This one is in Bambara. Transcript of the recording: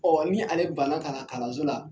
ni ale banna ka na kalanso la